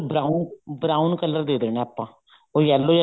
brown brown color ਦੇ ਦੇਣਾ ਆਪਾਂ ਉਹ yellow